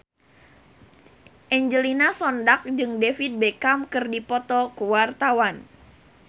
Angelina Sondakh jeung David Beckham keur dipoto ku wartawan